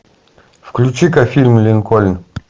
включи ка фильм линкольн